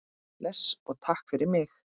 Bless og takk fyrir mig.